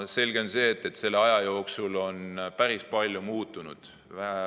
Selge on see, et selle aja jooksul on päris palju muutunud.